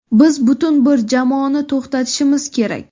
Biz butun bir jamoani to‘xtatishimiz kerak.